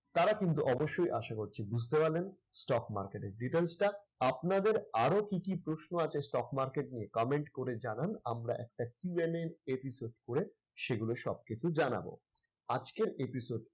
তারা কিন্তু অবশ্যই আশা করছি বুঝতে পারলেন stock market এর details টা। আপনাদের আরো কি কি প্রশ্ন আছে stock market নিয়ে comment করে জানান। আমরা একটা QNAepisode সেগুলোর সব কিন্তু জানাবো। আজকের episode